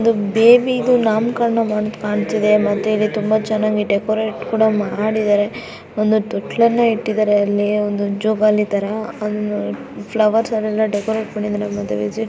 ಇದು ಬೇಬಿಗೆ ನಾಮಕರಣ ಅಂತ ಕಾಣಿಸುತ್ತಿದೆ ಮತ್ತು ಅಲ್ಲಿ ತುಂಬಾ ಚೆನ್ನಾಗಿ ಡೆಕೋರಟ್ ಕೂಡ ಮಾಡಿದ್ದಾರೆ ಒಂದು ತೊಟ್ಟಿಲ್ ನ್ನು ಇಟ್ಟಿದ್ದಾರೆ ಅಲ್ಲಿ ಜೋಕಾಲಿ ತರ ಫ್ಲವರ್ ಎಲ್ಲ ಡೆಕೋರಟ್ ಮಾಡಿದ್ದಾರೆ ಮದುವೆ ತರ--